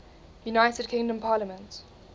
united kingdom parliament